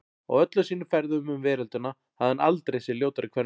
Á öllum sínum ferðum um veröldina hafði hann aldrei séð ljótari kvenmann.